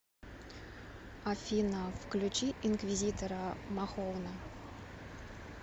афина включи инквизитора махоуна